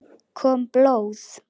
Kom blóð?